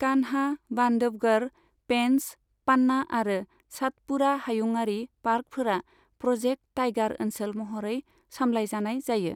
कान्हा, बान्धवगढ़, पेन्च, पान्ना आरो सातपुड़ा हायुङारि पार्कफोरा प्र'जेक्ट टाइगार ओनसोल महरै समलायजानाय जायो।